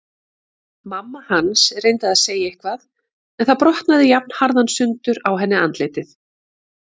Mamma hans reyndi að segja eitthvað en það brotnaði jafnharðan sundur á henni andlitið.